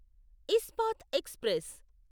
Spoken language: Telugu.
ఇస్పాత్ ఎక్స్ప్రెస్